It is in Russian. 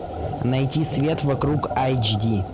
найти свет вокруг айч ди